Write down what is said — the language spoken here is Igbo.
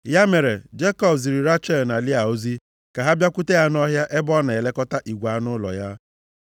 Ya mere, Jekọb ziri Rechel na Lịa ozi ka ha bịakwute ya nʼọhịa ebe ọ nọ na-elekọta igwe anụ ụlọ ya.